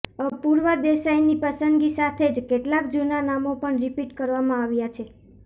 અપૂર્વ દેસાઇની પસંદગી સાથે જ કેટલાક જૂના નામો પણ રિપીટ કરવામાં આવ્યા છે